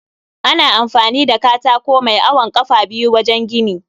Ana amfani da katako mai awon kafa biyu wajen gini